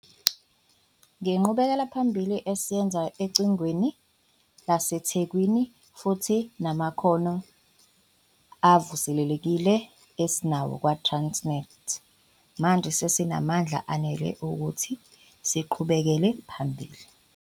Ngenqubekelaphambili esiyenze Echwebeni laseThekwini, futhi ngamakhono avuselelekile esinawo kwaTransnet, manje sesinamandla anele ukuthi siqhubekele phambili.